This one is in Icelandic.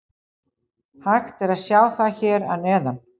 Hægt er að sjá það hér að neðan.